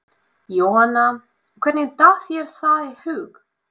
Jóhanna: Og hvernig datt þér það í hug?